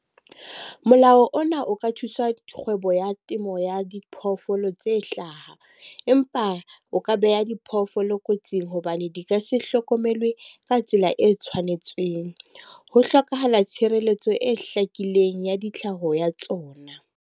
Molao ona o ka thuswa kgwebo ya temo ya diphoofolo tse hlaha. Empa o ka beha diphoofolo kotsing hobane di ka se hlokomelwe ka tsela e tshwanetseng. Ho hlokahala tshireletso e hlakileng ya di tlhaho ya tsona.